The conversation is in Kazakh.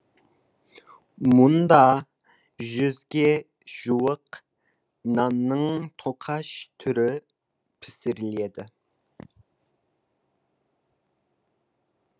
мұнда жүзге жуық нанның тоқаш түрі пісіріледі